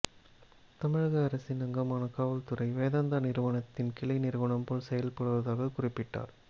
தமிழக அரசின் அங்கமான காவல்துறை வேதாந்த நிறுவனத்தின் கிளை நிறுவனம் போல செயல்படுவதாக குறிப்பிட்டார்